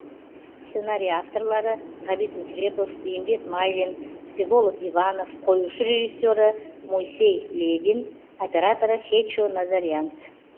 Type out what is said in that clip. сценарий авторлары ғабит мүсірепов бейімбет майлин всеволод иванов қоюшы режиссеры мойсей левин операторы хечо назарьянц